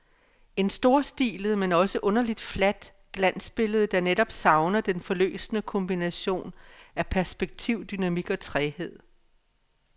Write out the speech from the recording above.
Et storstilet, men også underligt fladt, glansbillede, der netop savner den forløsende kombination af perspektiv, dynamik og træghed.